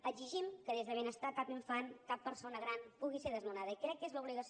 exigim que des de benestar cap infant cap persona gran pugui ser desnonada i crec que és l’obligació